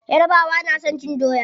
Yarabawa na son cin doya.